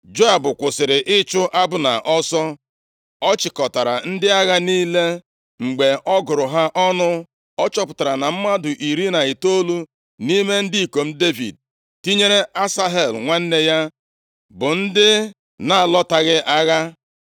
Joab kwụsịrị ịchụ Abna ọsọ, ọ chịkọtara ndị agha niile. Mgbe ọ gụrụ ha ọnụ, ọ chọpụtara na mmadụ iri na itoolu nʼime ndị ikom Devid, tinyere Asahel nwanne ya, bụ ndị na-alọtaghị agha.